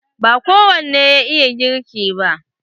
Ba kowane ya iya girki ba.